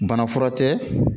Bana fura tɛ